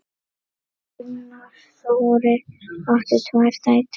Gunnar Þórir átti tvær dætur.